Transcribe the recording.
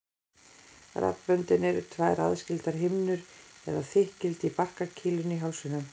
Raddböndin eru tvær aðskildar himnur eða þykkildi í barkakýlinu í hálsinum.